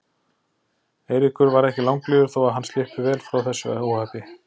Eiríkur varð ekki langlífur þó að hann slyppi vel frá þessu óhappi.